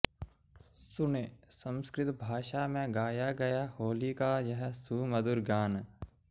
सुनें संस्कृत भाषा में गाया गया होली का यह सुमधुर गान